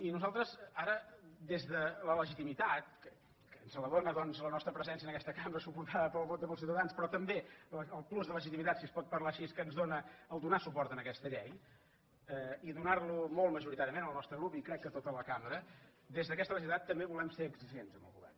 i nosaltres ara des de la legitimitat que ens la dóna la nostra presència en aquesta cambra suportada pel vot amb els ciutadans però també el plus de legitimitat si es pot parlar així que ens dóna el fet de donar suport a aquesta llei i do·nar·lo molt majoritàriament el nostre grup i crec que tota la cambra des d’aquesta legitimitat també volem ser exigents amb el govern